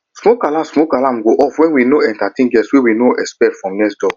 smoke alarm smoke alarm go off when we dey entertain guests wey we no dey expect from next door